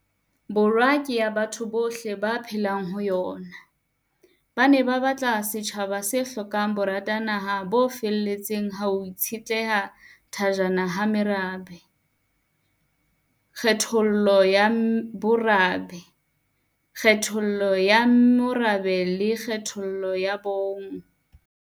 Borwa ke ya batho bohle ba phelang ho yona, ba ne ba batla setjhaba se hlokang boratanaha bo feteletseng ba ho itshehla thajana ha merabe, kgethollo ya bomorabe, kgethollo ya morabe le kgethollo ya bong.